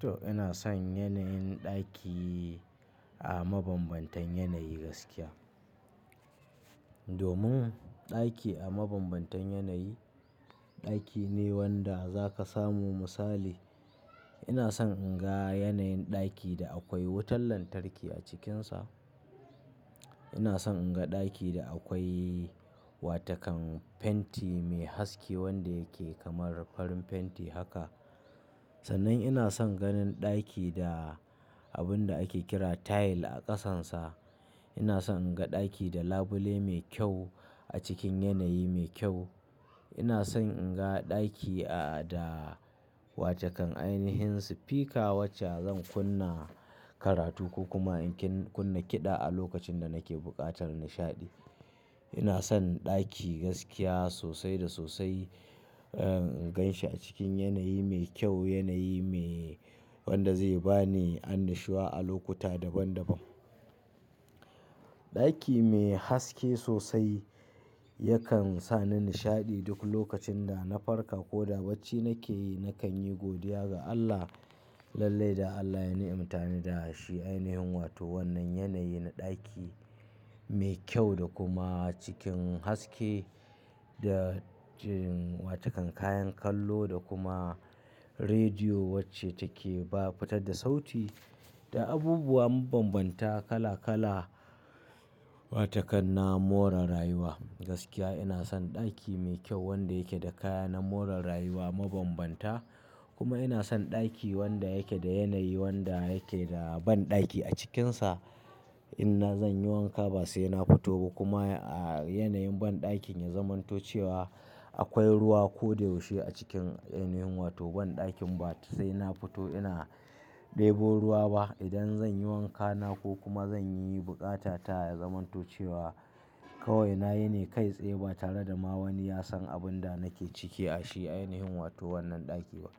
To ina son yanayin ɗaki a mabambantan yanayi gaskiya. Domin ɗaki a mabambantan yanayi, ɗaki ne wanda zaka samu misali. Ina son in ga yanayin ɗaki da akwai wutar lantarki a cikinsa. Ina son in ga ɗaki da akwai wata kan fenti mai haske wanda yake kamar farin fenti haka. Sannan ina son ganin ɗaki da abun da ake kira tile a ƙasansa. Ina son in ga ɗaki da labule mai kyau a cikin yanayi mai kyau. Ina son in ga ɗaki a da wata kan ainihin sifika wacce zan kunna karatu ko kuma in kunna kiɗa a lokacin da nake buƙatar nishaɗi. Ina son ɗaki gaskiya sosai da sosai, eh, in gan shi a cikin yanayi mai kyau, yanayi me wanda zai ba ni annashuwa a lokuta daban daban. Ɗaki mai haske sosai yakan sa ni nishaɗi duk lokacin da na farka ko da bacci nake yi, nakan yi godiya ga Allah lalle da Allah ya ni'imta ni da shi. Ainihin wato wannan yanayi na ɗaki mai kyau da kuma cikin haske da jin wata kan kayan kallo da kuma rediyo wacce take ba fitar da sauti da abubuwan bambanta kala kala. Wata kanna more rayuwa gaskiya ina son ɗaki mai kyau wanda yake da kaya na more rayuwa mabambanta kuma ina son ɗaki wanda yake da yanayi wanda yake da banɗaki a cikinsa. Ina zan yi wanka ba sai na fito ba kuma a yanayin banɗakin ya zamanto cewa akwai ruwa ko da yaushe a cikin ainihin wato banɗakin ba sai na fito ina ɗebo ruwa ba. Idan zan yi wanka na ko kuma zan yi bukata ta ta ya zamanto cewa kawai na yi ne kai tsaye ba tare da ma wani ya san abun da nake ciki a shi ainihin wato wannan ɗaki ba.